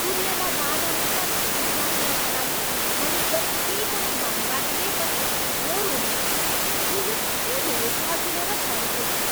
कुरियरलाई बाधामुक्त फिर्ती प्रक्रियाका लागि मैले जति पनि धन्यवाद दिए पनि थोर हुनेछ, यो यति धेरै सजिलो र छरितो थियो।